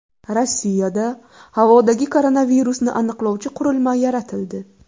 Rossiyada havodagi koronavirusni aniqlovchi qurilma yaratildi.